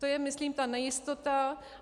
To je myslím ta nejistota.